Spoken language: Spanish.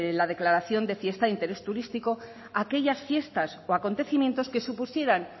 la declaración de fiesta de interés turístico aquellas fiestas o acontecimientos que supusieran